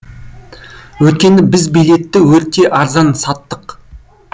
өйткені біз билетті өте арзан саттық